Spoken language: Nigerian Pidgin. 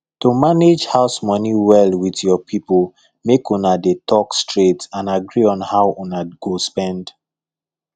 to manage house money well with your people make una dey talk straight and agree on how una go spend